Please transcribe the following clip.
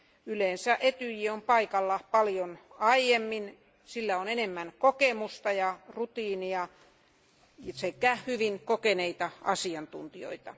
Yleensä Etyj on paikalla paljon aiemmin, sillä on enemmän kokemusta ja rutiinia sekä hyvin kokeneita asiantuntijoita.